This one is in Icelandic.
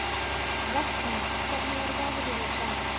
Vestmar, hvernig er veðrið í dag?